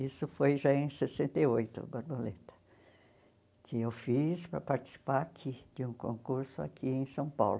Isso foi já em sessenta e oito, a Borboleta, que eu fiz para participar aqui de um concurso aqui em São Paulo.